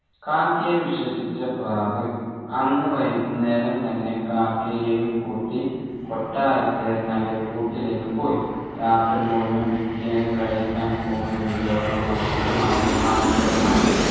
കാക്കയെ വിശ്വസിച്ച പ്രാവ് അന്ന് വൈകുന്നേരം തന്നെ കാക്കയെയും കൂട്ടി കൊട്ടാരത്തിലെ തൻെറ കൂട്ടിലേക്ക് പോയി രാത്രി മുഴുവൻ പിറ്റേന്ന് കഴിക്കാൻ പോകുന്ന വിഭവങ്ങൾ മാത്രമായിരുന്നു കാക്കയുടെ മനസ്സിൽ